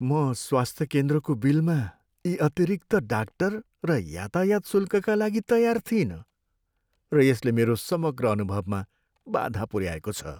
म स्वास्थ्य केन्द्रको बिलमा यी अतिरिक्त डाक्टर र यातायात शुल्कका लागि तयार थिइनँ, र यसले मेरो समग्र अनुभवमा बाधा पुऱ्याएको छ।